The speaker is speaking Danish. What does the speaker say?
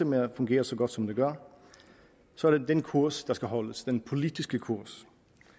med at fungere så godt som det gør så er det den kurs der skal holdes den politiske kurs